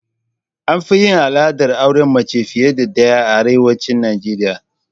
Anfi yin al'adar auren mace fiye da ɗaya a arewacin Najeriya